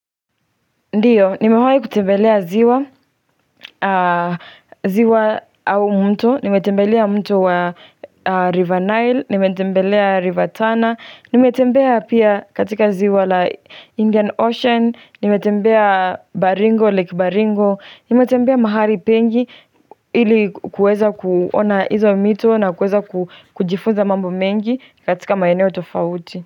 Ndio, nimewahi kutembelea ziwa, ziwa au mto, nimetembelea mto wa River Nile, nimetembelea River Tana, nimetembea pia katika ziwa la Indian Ocean, nimetembea Baringo, lake Baringo, nimetembea mahali pengi ili kuweza kuona hizo mito na kuweza kujifunza mambo mengi katika maeneo tofauti.